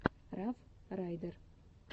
раф райдер